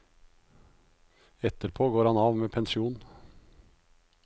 Etterpå går han av med pensjon.